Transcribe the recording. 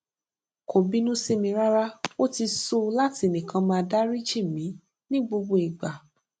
kò bínú sí mi rárá ó ti sú u láti nìkan máa dáríjì mí ní gbogbo ìgbà